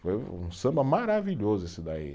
Foi um samba maravilhoso esse daí.